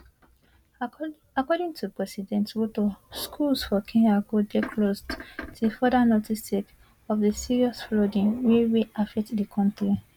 according to president ruto schools for kenya go dey closed till further notice sake of di serious flooding wey wey affect di kontri